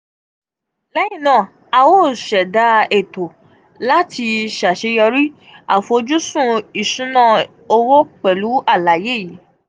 lẹhinna a o ṣẹda eto lati ṣaṣeyọri afojusun isuna isuna owo pẹlu alaye yii.